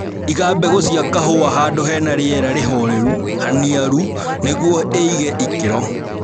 Iga mbegũ cia kahũa handũ hena rĩera rĩholelu, haniaru nĩguo ĩige ikĩro